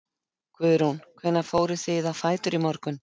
Guðrún: Hvenær fóruð þið á fætur í morgun?